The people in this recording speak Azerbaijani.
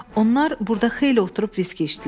Onlar burda xeyli oturub viski içdilər.